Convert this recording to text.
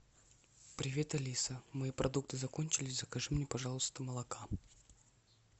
привет алиса мои продукты закончились закажи мне пожалуйста молока